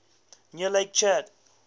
near lake chad